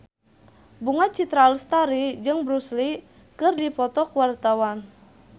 Bunga Citra Lestari jeung Bruce Lee keur dipoto ku wartawan